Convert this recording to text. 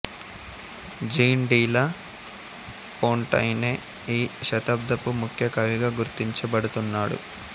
gene de La Fontaine ఈ శతాబ్దపు ముఖ్య కవిగా గుర్తించబడుతున్నాడు